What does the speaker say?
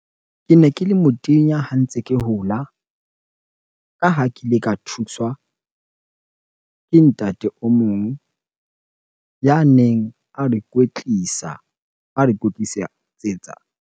Kene ke le motenya ha ntse ke hola. Ka ha ke ile ka thuswa ke ntate o mong ya neng a re kwetlisa, a re .